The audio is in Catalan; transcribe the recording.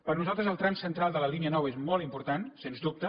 per nosaltres el tram central de la línia nou és molt important sens dubte